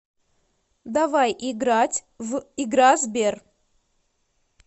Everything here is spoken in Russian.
давай играть в игра сбер